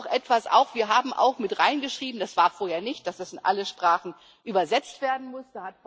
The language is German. Noch etwas Wir haben auch mit hineingeschrieben das war vorher nicht so dass es in alle Sprachen übersetzt werden muss.